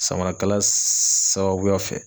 Samarakala sababuya fɛ.